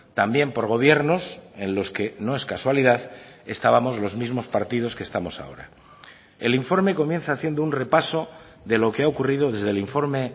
también por gobiernos en los que no es casualidad estábamos los mismos partidos que estamos ahora el informe comienza haciendo un repaso de lo que ha ocurrido desde el informe